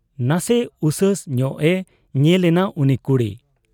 ᱱᱟᱥᱮ ᱩᱥᱟᱹᱥ ᱧᱚᱜ ᱮ ᱧᱮᱞ ᱮᱱᱟ ᱩᱱᱤ ᱠᱩᱲᱤ ᱾